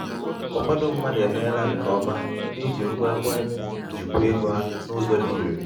ụfọdụ mmadụ emeela nke ọma n’iji ngwa ekwentị jikwaa ego ha n'ụzọ dị irè.